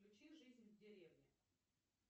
включи жизнь в деревне